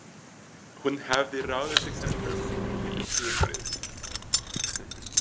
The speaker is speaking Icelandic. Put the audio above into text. Hún hafði ráðið sig sem kaupakonu yfir sumarið.